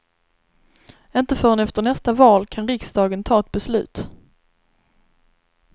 Inte förrän efter nästa val kan riksdagen ta ett beslut.